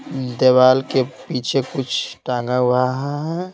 देवाल के पीछे कुछ टांगा हुआ है।